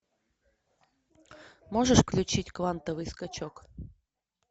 можешь включить квантовый скачок